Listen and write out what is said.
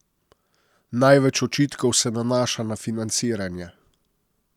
Največ očitkov se nanaša na financiranje.